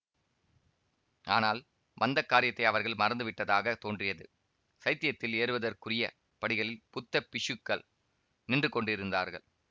ஆனால் வந்த காரியத்தை அவர்கள் மறந்து விட்டதாக தோன்றியது சைத்யத்தில் ஏறுவதற்குரிய படிகளில் புத்த பிக்ஷுக்கள் நின்று கொண்டிருந்தார்கள்